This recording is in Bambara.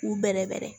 K'u bɛrɛbɛrɛ